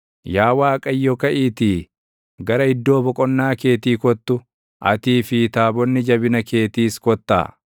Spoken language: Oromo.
‘Yaa Waaqayyo kaʼiitii, gara iddoo boqonnaa keetii kottu; atii fi taabonni jabina keetiis kottaa.